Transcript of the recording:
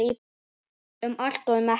Um allt og um ekkert.